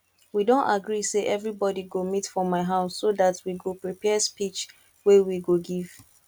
we don agree say everybody go meet for my house so dat we go prepare speech wey we go give